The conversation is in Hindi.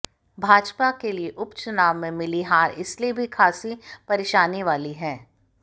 भाजपा के लिए उपचुनाव में मिली हार इसलिए भी खासी परेशानी वाली है